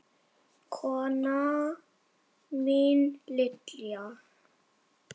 Kona mín Lydia